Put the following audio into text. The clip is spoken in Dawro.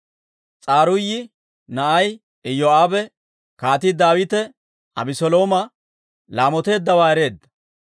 S'aruuyi na'ay Iyoo'aabe Kaatii Daawite Abeselooma laamoteeddawaa ereedda.